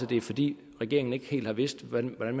det er fordi regeringen ikke helt har vidst hvordan